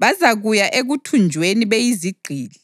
Bazakuya ekuthunjweni beyizigqili.”